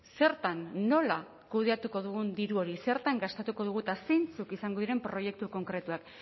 zertan nola kudeatuko dugun diru hori zertan gastatuko dugun eta zeintzuk izango diren proiektu konkretuak